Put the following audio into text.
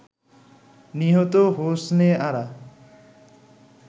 নিহত হোসনে আরা